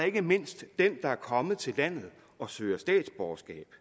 ikke mindst den der er kommet til landet og søger statsborgerskab